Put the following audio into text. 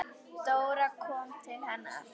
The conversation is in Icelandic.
Dóra kom til hennar.